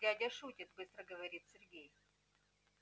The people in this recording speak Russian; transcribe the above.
дядя шутит быстро говорит сергей